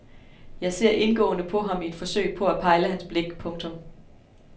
Jeg ser indgående på ham i et forsøg på at pejle hans blik. punktum